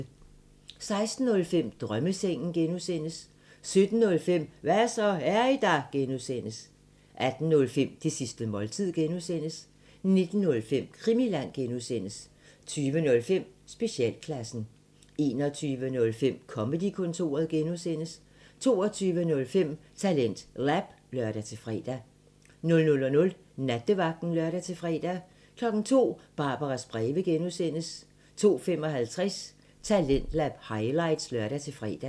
16:05: Drømmesengen (G) 17:05: Hva' så, er I der? (G) 18:05: Det sidste måltid (G) 19:05: Krimiland (G) 20:05: Specialklassen 21:05: Comedy-kontoret (G) 22:05: TalentLab (lør-fre) 00:00: Nattevagten (lør-fre) 02:00: Barbaras breve (G) 02:55: Talentlab highlights (lør-fre)